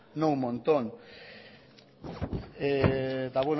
no un montón eta